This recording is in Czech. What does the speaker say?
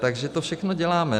Takže to všechno děláme.